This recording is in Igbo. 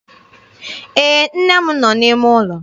Ee, nne m nọ n'ime ụlọ.